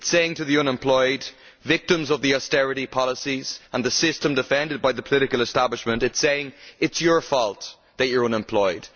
To the unemployed victims of the austerity policies and the system defended by the political establishment it is saying it is your fault that you are unemployed.